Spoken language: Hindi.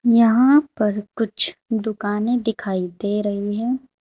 यहां पर कुछ दुकाने दिखाई दे रही है।